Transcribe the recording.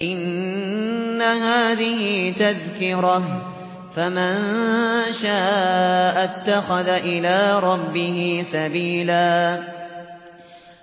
إِنَّ هَٰذِهِ تَذْكِرَةٌ ۖ فَمَن شَاءَ اتَّخَذَ إِلَىٰ رَبِّهِ سَبِيلًا